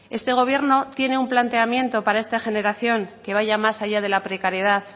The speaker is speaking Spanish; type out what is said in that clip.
este gobierno tiene un planteamiento para esta generación que vaya más allá de la precariedad